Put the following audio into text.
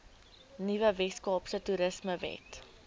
nuwe weskaapse toerismewet